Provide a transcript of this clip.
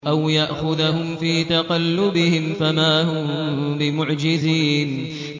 أَوْ يَأْخُذَهُمْ فِي تَقَلُّبِهِمْ فَمَا هُم بِمُعْجِزِينَ